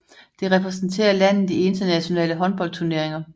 Det repræsenterer landet i internationale håndboldturneringer